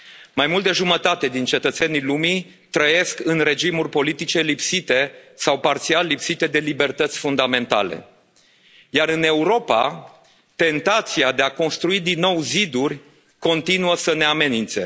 Mai mult de jumătate din cetățenii lumii trăiesc în regimuri politice lipsite sau parțial lipsite de libertăți fundamentale, iar în Europa tentația de a construi din nou ziduri continuă să ne amenințe.